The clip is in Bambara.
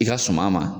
I ka suma ma